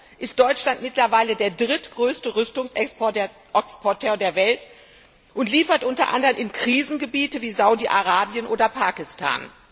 Dennoch ist Deutschland mittlerweile der drittgrößte Rüstungsexporteur der Welt und liefert unter anderem in Krisengebiete wie Saudi Arabien oder Pakistan.